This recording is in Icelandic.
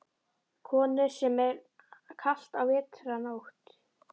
Konur, sem er kalt á vetrarnóttum.